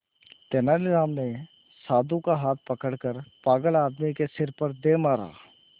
तेनालीराम ने साधु का हाथ पकड़कर पागल आदमी के सिर पर दे मारा